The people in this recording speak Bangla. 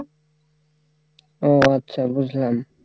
ও আচ্ছা বুঝলাম